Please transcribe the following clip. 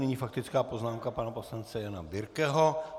Nyní faktická poznámka pana poslance Jana Birkeho.